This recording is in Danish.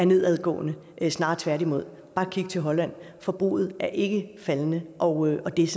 nedadgående snarere tværtimod bare kig til holland forbruget er ikke faldende og og det er